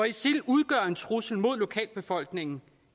isil udgør en trussel mod lokalbefolkningen